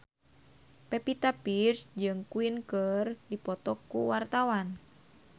Pevita Pearce jeung Queen keur dipoto ku wartawan